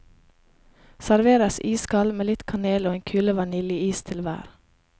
Serveres iskald med litt kanel og en kule vaniljeis til hver.